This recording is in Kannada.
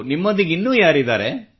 ನಿಮ್ಮೊಂದಿಗೆ ಇನ್ನೂ ಯಾರಿದ್ದಾರೆ